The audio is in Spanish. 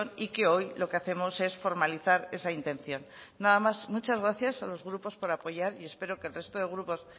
y que hoy lo que hacemos es formalizar esa intención nada más muchas gracias a los grupos por apoyar y espero que el resto de grupos